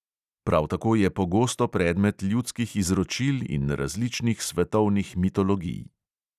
Prav tako je pogosto predmet ljudskih izročil in različnih svetovnih mitologij.